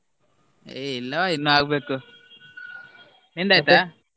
ಏ ಇಲ್ವ ಇನ್ ಆಗ್ಬೇಕು ?